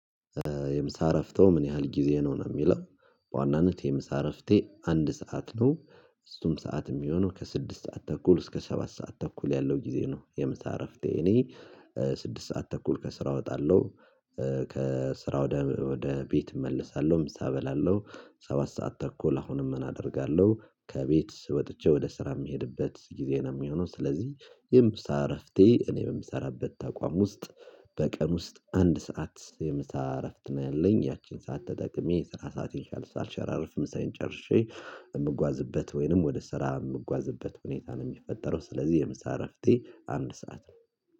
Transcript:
የምሳረፍተው ምን ያህል ጊዜ ነው የሚለው? በዋናነት የምሳረፍቴ አንድ ሰዓት ነው። እሱም ሰዓት የሚሆነው ከስድስት ሰዓት ተኩል እስከ ሰባት ሰዓት ተኩል ያለው ጊዜ ነው የምሳ እረፍቴ እኔ። ስድስት ሰዓት ተኩል ከስራ እወጣለሁ። ከስራ ወደ ቤት እመልሳለሁ ምሳ እበላለሁ። ሰባት ሰዓት ተኩል አሁንም እናደርጋለሁ ከቤት ወጥቼ ወደ ስራ የሚሄድበት ጊዜ ነው የሚሆነው። ስለዚህ የምሳ እረፍቴ እኔ የምሰራበት ተቋም ውስጥ በቀን ውስጥ አንድ ሰዓት የምሳ እረፍት ነው ያለኝ ያቺን ሰዓት ተጠቅሜ ስራ ሰዓት የቻለው ሻልሻል ሸራርፍ ምሳይን ጨርሼ የምጓዝበት ወይንም ወደ ስራ የምጓዝበት ሁኔታ ነው የሚፈጠረው ስለዚህ የምሳ እረፍቴ አንድ ሰዓት ነው።